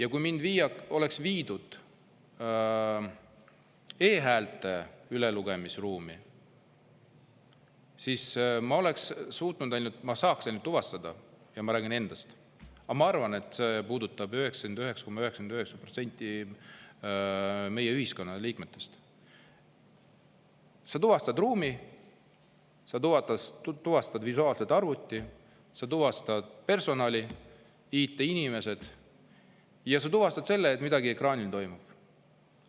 Aga kui mind viidaks e-häälte ülelugemise ruumi, siis ma suudaks ainult tuvastada – ma räägin küll endast, aga ma arvan, et see puudutab 99,99% meie ühiskonna liikmetest – ruumi, kus sa tuvastad visuaalselt arvuti, sa tuvastad personali, IT-inimesed, ja tuvastad selle, et midagi ekraanil toimub.